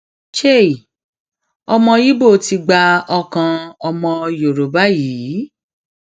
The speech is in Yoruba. chei ọmọ ibo ti gba ọkàn ọmọbìnrin yorùbá yìí